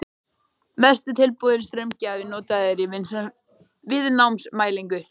Mest er tilbúinn straumgjafi notaður í viðnámsmælingum.